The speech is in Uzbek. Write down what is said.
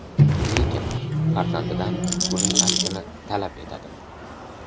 Lekin farzandidan buning aksini talab etadi.